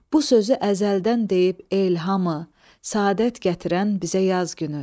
Bu sözü əzəldən deyib el hamı, səadət gətirən bizə yaz günü.